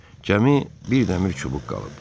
Cəmi bir dəmir çubuq qalıb.